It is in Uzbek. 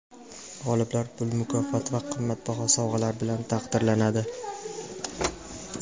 G‘oliblar pul mukofoti va qimmatbaho sovg‘alar bilan taqdirlanadi.